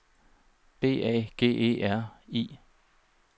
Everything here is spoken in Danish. B A G E R I